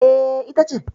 E, ita ce.